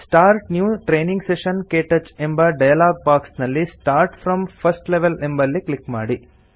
start new training session - ಕ್ಟಚ್ ಎಂಬ dialog box ನಲ್ಲಿ ಸ್ಟಾರ್ಟ್ ಫ್ರಾಮ್ ಫರ್ಸ್ಟ್ ಲೆವೆಲ್ ಎಂಬಲ್ಲಿ ಕ್ಲಿಕ್ ಮಾಡಿ